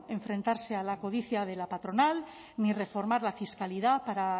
enfrentarse a la codicia de la patronal ni reformar la fiscalidad para